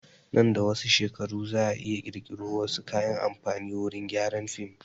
Nan da wasu shekaru za a iya ƙirƙiro wasu kayan amfani wurin gyaran film